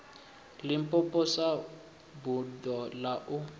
limpopo sa buḓo ḽa u